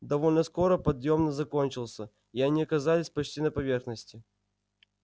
довольно скоро подъем закончился они оказались почти на поверхности